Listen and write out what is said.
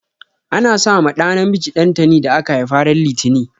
Ana sa ma ɗa namiji dantani da aka haifa ran litani.